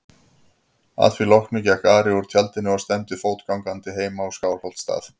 Að því loknu gekk Ari úr tjaldinu og stefndi fótgangandi heim á Skálholtsstað.